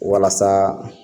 Walasa